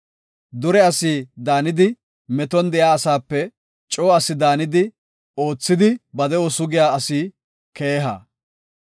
Dure asi daanidi, meton de7iya asaape coo asa daanidi, oothiiddi ba de7o sugiya asi keeha.